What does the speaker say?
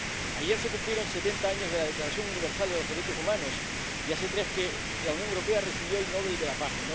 Ayer se cumplieron setenta años de la Declaración Universal de los Derechos Humanos y hace tres que la Unión Europea recibió el Nobel de la Paz.